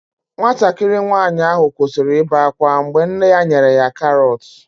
Nwatakịrị nwanyị ahụ kwụsịrị ibe ákwá mgbe nne ya nyere ya karọt.